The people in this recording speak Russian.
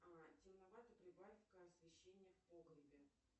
темновато прибавь ка освещение в погребе